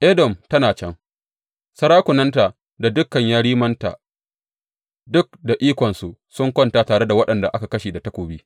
Edom tana can, sarakunanta da dukan yerimanta; duk da ikonsu, sun kwanta tare da waɗanda aka kashe da takobi.